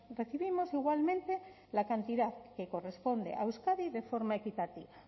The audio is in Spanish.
recibimos igualmente la cantidad que corresponde a euskadi de forma equitativa